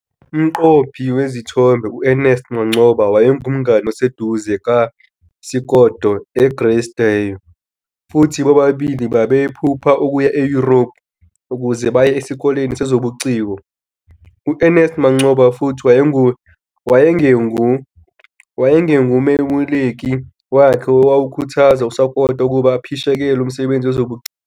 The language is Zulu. Umqophi wezithombe U-Ernest Mancoba wayengumngane oseduze kaSekoto e-Grace Dieu, futhi bobabili babephupha ukuya eYurophu ukuze baye esikoleni sezobuciko. U-Ernest Mancoba futhi wayengumeluleki wakhe owakhuthaza uSokoto ukuba aphishekele umsebenzi wezobuciko.